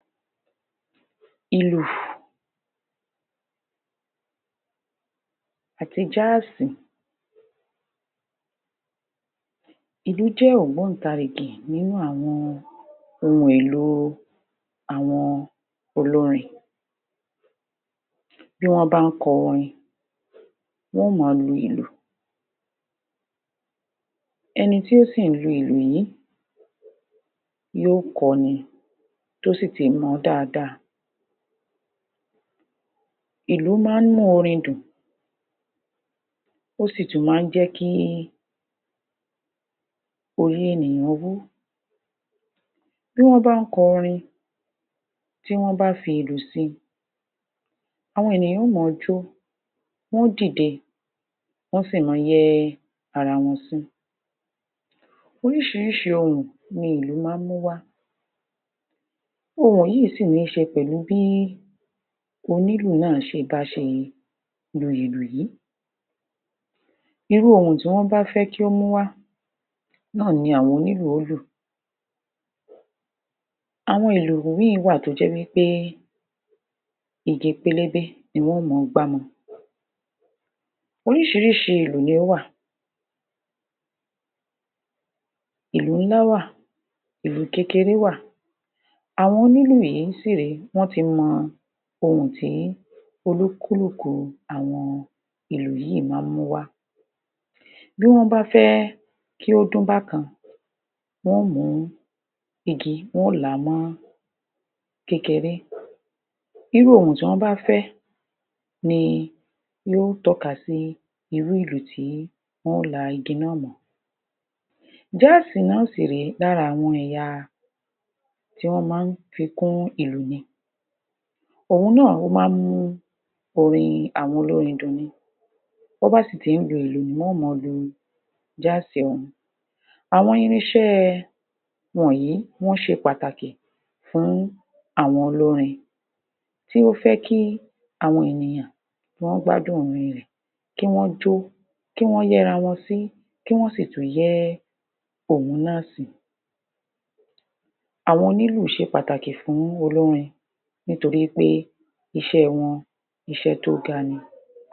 Ìlù àti jáàsì, Ìlù jẹ́ ògbóntàrigì nínú àwọn ohùn èlò olórin bí wọ́n bá n kọ orin wọ́n ó ma lu ìlù, ẹni tí o sì n lu ìlù yìí yóò kọ ni tí yóò sì fi mọ̀ọ́ dáadáa. Ìlù ma ń mú orin dùn ó sì tún ma n jẹ́ kí orí ènìyàn wú, bí wọ́n bá n kọ orin tí wọ́n bá fi ìlù si, àwọn ènìyàn ó maa jó wọn ó dìde wọ́n sì ma yẹ́ ara wọn sí. Oríṣiríṣi ohùn ni ìlù ma n múwá ohùn yìí sì ní ṣe pẹ̀lú bí onílù náà báṣe lu ìlù yìí, irú ohùn tí wọ́n bá fẹ́ kí ó múwá náà ni àwọn onílù ó lù. Àwọn ìlù míì wà tó jẹ́ wípé igi pélébé ni wọn ó ma gbámọ. Oríṣiríṣi ìlù ni ó wà, ìlù nĺa wà, ìlù kékeré wà àwọn onílù yìí sìré wọ́n ti mọ ohùn tí olúkúlù̀ kù àwọn ìlù yíì ma ń múwá. Bí wọ́n bá fẹ́ kí ó dún bákan wọn ó mú igi wọn ó làá mọ́ kékeré, irú ohùn tí wọ́n bá fẹ́ ni yóò tọ́ka sí irú ìlù tí wọn yóò la igi náà mọ́. Jáàsì náà sì rẹ́ lára àwọn ẹ̀ya tí wọ́n ma n fi kún ìlù ni, ohùn náà ma ń mú orin àwọn olórin dùn ni bọ́n ba sì tí n lu ìlù mọ o mọ lu jáàsì òhún. Àwọn irinṣẹ́ wọ̀nyí wọ́n ṣe pàtàkì fún àwọn olórin tí ó fẹ́ kí àwọn ènìyàn ó gbádùn orin rẹ̀ kí wọ́n jó, ki wọ́n yẹ́ra wọn sí kí wọn sì tún yẹ́ òhun náà sí. Àwọn onílù ṣe pàtàkì fún olórin nítoríwípé iṣẹ́ wọn iṣẹ́ tó ga ni.